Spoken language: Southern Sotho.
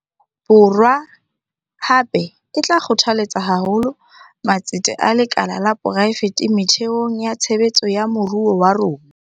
Borwa, hape, e tla kgothaletsa haholo matsete a lekala la poraefete methe ong ya tshebetso ya moruo wa rona.